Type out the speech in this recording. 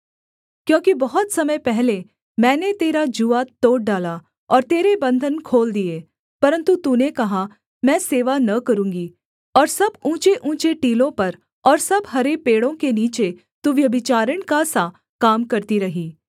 क्योंकि बहुत समय पहले मैंने तेरा जूआ तोड़ डाला और तेरे बन्धन खोल दिए परन्तु तूने कहा मैं सेवा न करूँगी और सब ऊँचेऊँचे टीलों पर और सब हरे पेड़ों के नीचे तू व्यभिचारिणी का सा काम करती रही